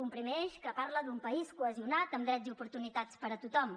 un primer eix que parla d’un país cohesionat amb drets i oportunitats per a tothom